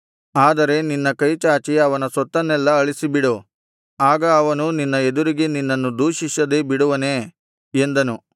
ಆದರೆ ನಿನ್ನ ಕೈಚಾಚಿ ಅವನ ಸೊತ್ತನ್ನೆಲ್ಲಾ ಅಳಿಸಿಬಿಡು ಆಗ ಅವನು ನಿನ್ನ ಎದುರಿಗೆ ನಿನ್ನನ್ನು ದೂಷಿಸದೇ ಬಿಡುವನೇ ಎಂದನು